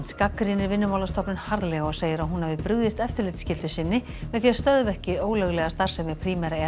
gagnrýnir Vinnumálastofnun harðlega og segir að hún hafi brugðist eftirlitsskyldu sinni með því að stöðva ekki ólöglega starfsemi Primera